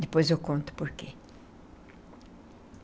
Depois eu conto o porquê.